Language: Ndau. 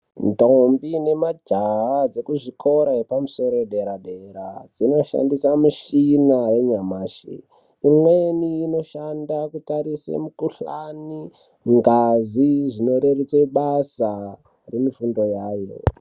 Ndombi nemajaha dzekuzvikora yepamusoro yedera-dera, dzinoshandisa mishina yanyamashi. Imweni inoshanda kutarise mukuhlani ngazi zvinoreruta basa remufundo yayo.